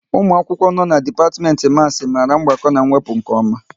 Ụmụ akwụkwọ no n'dipatimenti Maasi mara mgbakọ na wepụ nke oma